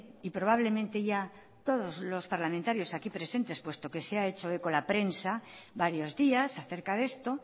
y probablemente ya todos los parlamentarios aquí presentes puesto que se ha hecho eco la prensa varios días acerca de esto